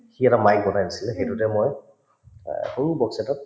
সি এটা mic বনাই দিছিলে সেইটোতে মই এহ্ সৰু box এটাত